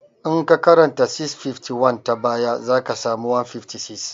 In ka karanta 651 ta baya, za ka sami 156